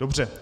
Dobře.